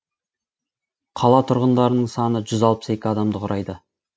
қала тұрғындарының саны жүз алпыс екі адамды құрайды